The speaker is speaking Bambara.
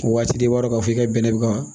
Waati de b'a dɔ k'a fɔ i ka bɛnɛ bɛ ka